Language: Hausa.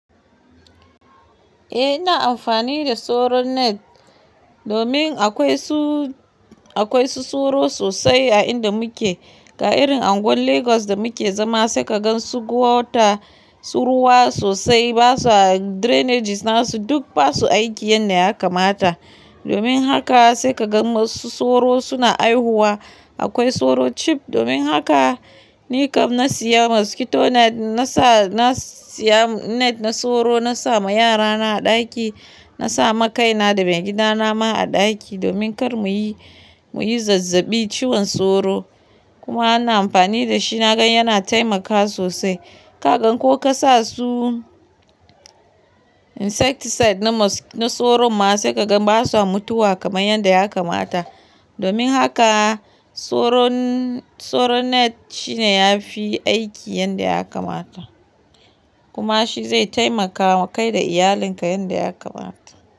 Eh ina amfani da soro net domin akwai su, akwai su soro sosai a inda muke. Ga irin anguwan Lagos da muke zama sai ka gan su gwauta su ruwa sosai. Basu a drainages nasu duk basu aiki yanda ya kamata. Domin haka sai ka gan wasu soro suna haihuwa. Akwai soro cheap, domin haka ni kam na siya mosquito net. Na sa, na siya net na soro. Na sa ma yarana a ɗaki. Na sa ma kaina da maigidana ma a ɗaki domin kar muyi, muyi zazzabi ciwon soro. Kuma ana amfani da shi. Na gan yana taimakawa sosai. Ka gan ko ka sa su insecticide na soro ma sai ka gan basu a mutuwa kamar yanda ya kamata. Domin haka soro, soro net shine yafi aiki yanda ya kamata. Kuma shi zai taimakawa kai da iyalinka yanda ya kamata.